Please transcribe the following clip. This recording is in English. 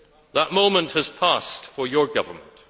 That moment has passed for your Government.